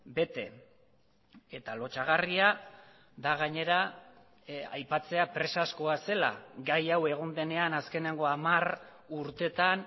bete eta lotsagarria da gainera aipatzea presazkoa zela gai hau egon denean azkeneko hamar urtetan